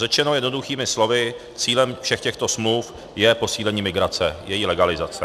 Řečeno jednoduchými slovy, cílem všech těchto smluv je posílení migrace, její legalizace.